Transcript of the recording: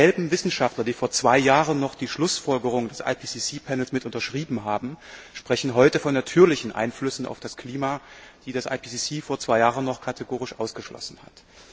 Dieselben Wissenschaftler, die vor zwei Jahren noch die Schlussfolgerungen des IPCC Panels mitunterschrieben haben, sprechen heute von natürlichen Einflüssen auf das Klima, die das IPCC vor zwei Jahren noch kategorisch ausgeschlossen hat.